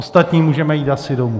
Ostatní můžeme jít asi domů!